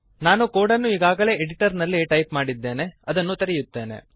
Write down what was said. ನಾನು ಕೋಡನ್ನು ಈಗಾಗಲೇ ಎಡಿಟರ್ನಲ್ಲಿ ಟೈಪ್ ಮಾಡಿದ್ದೇನೆ ಅದನ್ನು ತೆರೆಯುತ್ತೇನೆ